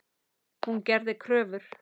Hún gerði kröfur.